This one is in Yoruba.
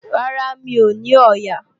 Rárá, mi ò ní ọ̀ọ̀yà